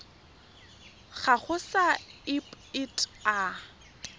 gago sa irp it a